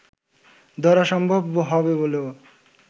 ধরা সম্ভব হবে বলেও